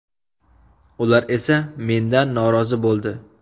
Ular esa mendan norozi bo‘ldi.